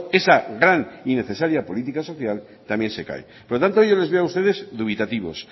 esa gran y necesaria política social también se cae por lo tanto yo les veo a ustedes dubitativos